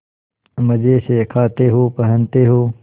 मजे से खाते हो पहनते हो